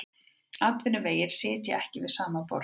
Atvinnuvegir sitja ekki við sama borð